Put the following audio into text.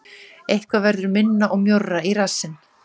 Eitthvað verður minna og mjórra í rassinn